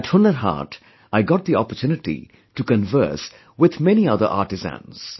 At Hunar Haat, I got the opportunity to converse with many other artisans